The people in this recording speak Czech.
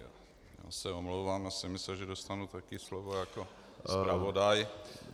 Já se omlouvám, já jsem myslel, že dostanu také slovo jako zpravodaj.